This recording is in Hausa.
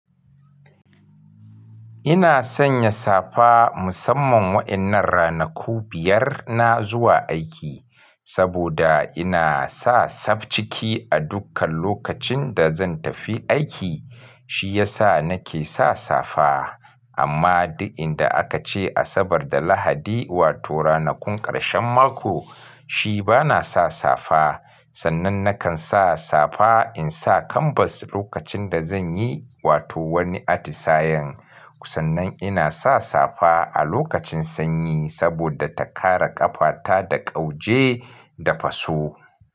Ina sanya safa musamman wa'innan ranaku biyar na zuwa aiki, saboda ina sa sab ciki a dukkan lokacin da zan tafi aiki, shiyasa nake sa safa. Amma duk inda akace Asabar da Lahadi, wato ranakun ƙarshen mako, shi bana sa safa. Sannan nakan sa safa insa kanbas lokacin da zanyi wato wani atisayen. Sannan ina sa safa a lokacin sanyi saboda ta kare ƙafata da ƙauje da faso.